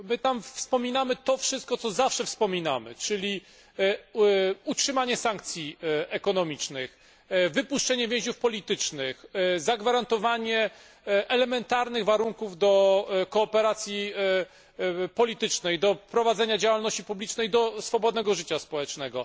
My tam wspominamy to wszystko, co zawsze wspominamy, czyli utrzymanie sankcji ekonomicznych, wypuszczenie więźniów politycznych, zagwarantowanie elementarnych warunków do kooperacji politycznej, do prowadzenia działalności publicznej, do swobodnego życia społecznego.